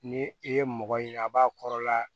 Ni i ye mɔgɔ ye a b'a kɔrɔla